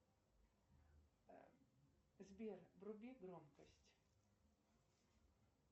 сбер вруби громкость